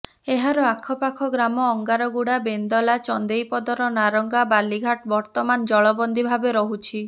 ଏହାର ଆଖପାଖ ଗ୍ରାମ ଅନଗାରଗୁଡା ବେନ୍ଦଲା ଚନ୍ଦେଇପଦର ନାରଗାଁ ବାଲିଘାଟ ବର୍ତ୍ତମାନ ଜଳବନ୍ଦୀ ଭାବେ ରହୁଛି